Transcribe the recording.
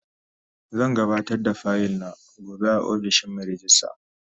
Zan gabatar da fayil na gobe a ofishin Mai rejista.